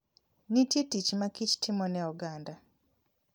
Nitie tich ma kich timo ne oganda.